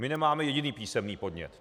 My nemáme jediný písemný podnět.